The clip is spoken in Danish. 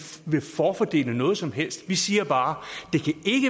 vil forfordele noget som helst vi siger bare